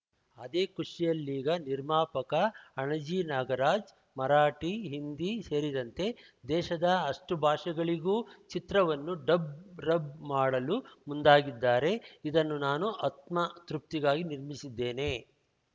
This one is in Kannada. ಅದೇ ಖುಷಿಯಲ್ಲೀಗ ನಿರ್ಮಾಪಕ ಅಣಜಿ ನಾಗರಾಜ್‌ ಮರಾಠಿ ಹಿಂದಿ ಸೇರಿದಂತೆ ದೇಶದ ಅಷ್ಟುಭಾಷೆಗಳಿಗೂ ಚಿತ್ರವನ್ನು ಡಬ್ ರಬ್ ಮಾಡಲು ಮುಂದಾಗಿದ್ದಾರೆ ಇದನ್ನು ನಾನು ಆತ್ಮತೃಪ್ತಿಗಾಗಿ ನಿರ್ಮಿಸಿದ್ದೇನೆ